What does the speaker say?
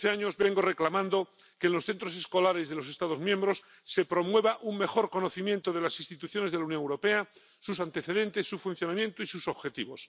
Desde hace años vengo reclamando que en los centros escolares de los Estados miembros se promueva un mejor conocimiento de las instituciones de la Unión Europea, sus antecedentes, su funcionamiento y sus objetivos.